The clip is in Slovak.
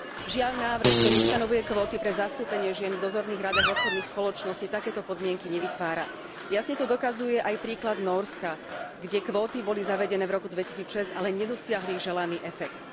Žiaľ, návrh, ktorý ustanovuje kvóty pre zastúpenie žien v dozorných radách obchodných spoločností takéto podmienky nevytvára. Jasne to dokazuje aj príklad Nórska, kde kvóty boli zavedené v roku 2006, ale nedosiahli želaný efekt.